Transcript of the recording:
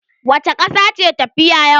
Wace ƙasa ce tafiya yawa?